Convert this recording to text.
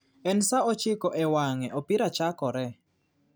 En saa ochiko e wange ,opira chakore